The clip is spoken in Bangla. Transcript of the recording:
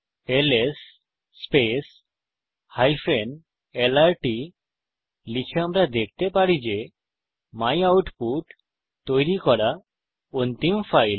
এলএস lrt লিখে আমরা দেখতে পারি যে মাইউটপুট তৈরি করা অন্তিম ফাইল